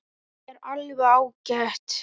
Það er alveg ágætt.